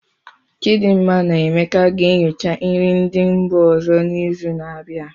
Chidinma na Emeka ga-enyocha nri ndị mba ọzọ n'izu na-abịa.